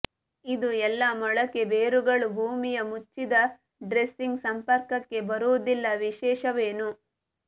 ಇದು ಎಲ್ಲಾ ಮೊಳಕೆ ಬೇರುಗಳು ಭೂಮಿಯ ಮುಚ್ಚಿದ ಡ್ರೆಸಿಂಗ್ ಸಂಪರ್ಕಕ್ಕೆ ಬರುವುದಿಲ್ಲ ವಿಶೇಷವೇನು